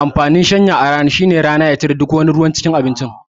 Amfanin shanya a rana shine rana ya cire duk ruwan cikin abinci